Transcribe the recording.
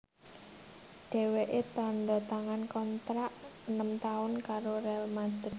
Dhèwèké tandha tangan kontrak enem taun karo Real Madrid